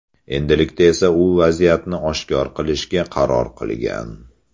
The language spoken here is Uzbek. Endilikda esa u vaziyatni oshkor qilishga qaror qilgan.